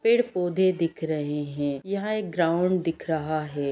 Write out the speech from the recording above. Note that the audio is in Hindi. पेड़-पौधे दिख रहे हैं यहाँ एक ग्राउंड दिख रहा है।